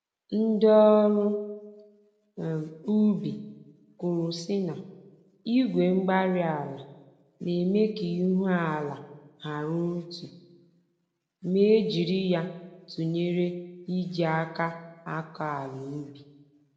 Ndị ọrụ um ubi kwuru sị na, Igwe-mgbárí-ala na-eme ka k'ihu-ala hara otú, ma e jiri ya tụnyere iji àkà akọ àlà ubi